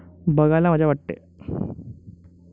बघायला मजा वाटते.